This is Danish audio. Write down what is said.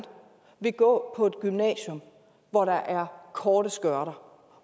vil gå på et gymnasium hvor der er korte skørter